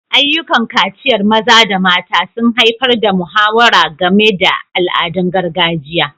Ayyukan kaciyar maza da mata sun haifar da muhawara game da al'adun gargajiya.